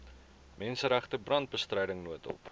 menseregte brandbestryding noodhulp